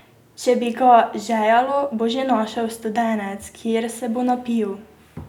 Če bi ga žejalo, bo že našel studenec, kjer se bo napil.